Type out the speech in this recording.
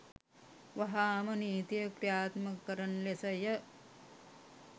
වහාම නීතිය කි්‍රයාත්මක කරන ලෙස ය.